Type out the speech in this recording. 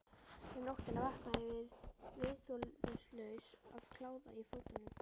Um nóttina vaknaði ég viðþolslaus af kláða í fótunum.